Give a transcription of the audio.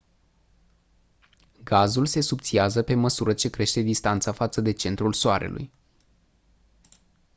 gazul se subțiază pe măsură ce crește distanța față de centrul soarelui